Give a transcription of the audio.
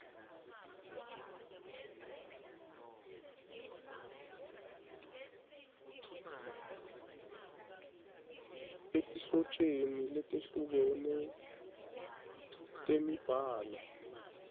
etinhlotjeni letehlukene temibhalo